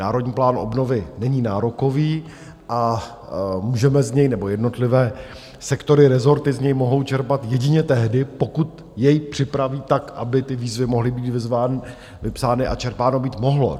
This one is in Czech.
Národní plán obnovy není nárokový a můžeme z něj, nebo jednotlivé sektory, rezorty, z něj mohou čerpat jedině tehdy, pokud jej připraví tak, aby ty výzvy mohly být vypsány a čerpáno být mohlo.